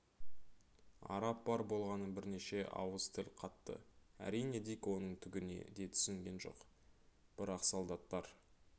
араб бар болғаны бірнеше ауыз тіл қатты әрине дик оның түгіне де түсінген жоқ бірақ солдаттар